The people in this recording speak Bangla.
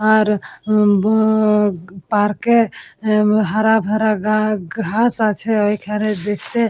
আর বু-উ-উ পার্কে এ হারা ভাড়া গা ঘাস আছে ওই খানে দেখতে --